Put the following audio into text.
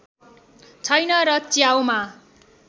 छैन र च्याउमा